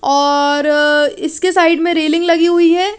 और इसके साइड में रेलिंग लगी हुई है।